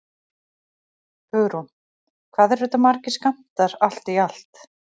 Hugrún: Hvað eru þetta margir skammtar allt í allt?